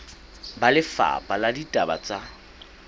ba lefapha la ditaba tsa